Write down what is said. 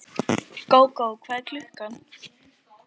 Gógó, hvað er klukkan?